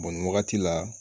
nin wagati la